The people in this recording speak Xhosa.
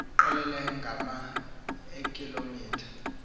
qelele ngama eekilometha